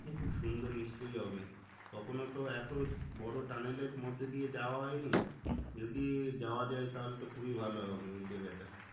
খুব সুন্দর নিশ্চই হবে তখনও তো এতো বড়ো tunnel এর মধ্যে দিয়ে যাওয়া হয়নি যদি যাওয়া যায় তাহলে তো খুবই ভালো হবে ওই জেয়গাটা